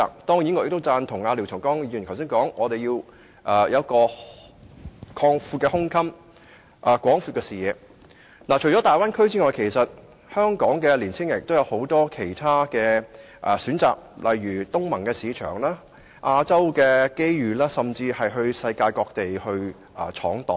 當然，我亦贊同廖長江議員剛才所說，我們須有廣闊的胸襟和視野，除大灣區外，香港的青年人亦有很多其他選擇，例如東盟的市場、亞洲的機遇，他們甚至可到世界各地闖蕩。